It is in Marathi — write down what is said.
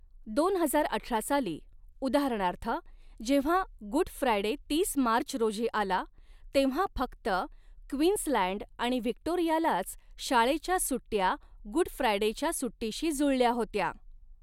दोन हजार अठरा साली, उदाहरणार्थ, जेव्हा गुड फ्रायडे तीस मार्च रोजी आला, तेव्हा फक्त क्वीन्सलँड आणि व्हिक्टोरियालाच शाळेच्या सुट्ट्या गुड फ्रायडेच्या सुट्टीशी जुळल्या होत्या.